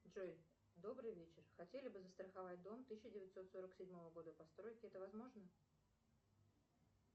джой добрый вечер хотели бы застраховать дом тысяча девятьсот сорок седьмого года постройки это возможно